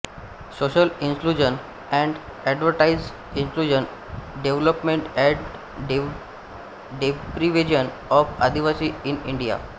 social inclusion and adverse inclusion development and deprivation of Adivasi in India